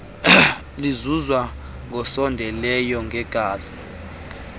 lizuzwa ngosondeleyo ngegazi